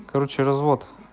короче развод